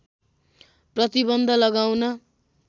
प्रतिबन्ध लगाउन